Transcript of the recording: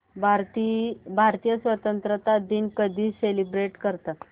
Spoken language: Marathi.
भारतीय स्वातंत्र्य दिन कधी सेलिब्रेट करतात